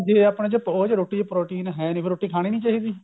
ਜੇ ਆਪਣੇ ਚ ਰੋਟੀ ਚ protein ਹੈ ਨਹੀਂ ਫੇਰ ਰੋਟੀ ਕਹਾਣੀ ਨਹੀਂ ਚਾਹੀਦੀ